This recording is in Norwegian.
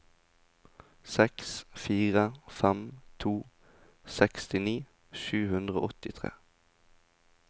seks fire fem to sekstini sju hundre og åttitre